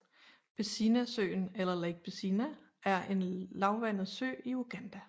Bisinasøen eller Lake Bisina er en lavvandet sø i Uganda